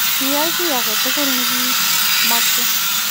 Keyai kii agetugul negimoche.